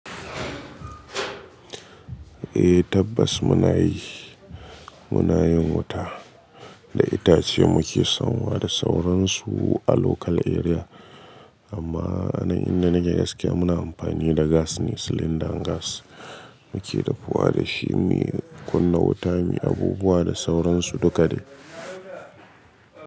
Eh tabbas muna yi, muna yin wuta da itace muke son wa da sauransu a local area amma inda nake gaske muna amfani da gas ne silinda gas muke dafuwa da shi muyi kunna wuta muyi abubuwa da sauransu duka ne.